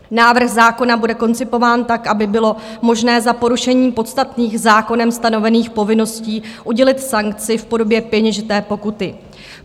Návrh zákona bude koncipován tak, aby bylo možné za porušení podstatných zákonem stanovených povinností udělit sankci v podobě peněžité pokuty.